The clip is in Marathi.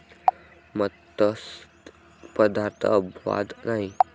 मत्स्य पदार्थ अपवाद नाही.